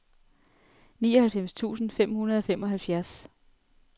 nioghalvfems tusind fem hundrede og femoghalvfjerds